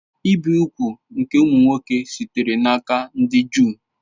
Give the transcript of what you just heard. Ibi úgwù nke ụmụ nwoke sitere n'aka ndị Juu